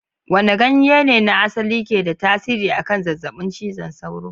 Wane ganye ne na asali ke da tasiri akan zazzabin cizon sauro?